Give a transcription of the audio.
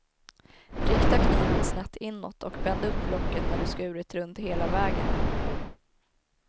Rikta kniven snett inåt och bänd upp locket när du skurit runt hela vägen.